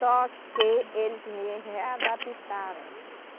Só que eles me readaptaram.